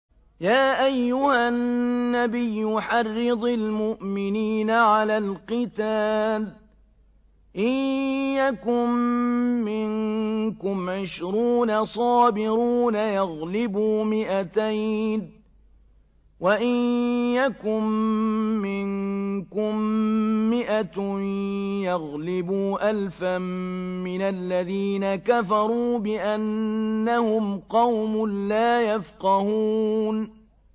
يَا أَيُّهَا النَّبِيُّ حَرِّضِ الْمُؤْمِنِينَ عَلَى الْقِتَالِ ۚ إِن يَكُن مِّنكُمْ عِشْرُونَ صَابِرُونَ يَغْلِبُوا مِائَتَيْنِ ۚ وَإِن يَكُن مِّنكُم مِّائَةٌ يَغْلِبُوا أَلْفًا مِّنَ الَّذِينَ كَفَرُوا بِأَنَّهُمْ قَوْمٌ لَّا يَفْقَهُونَ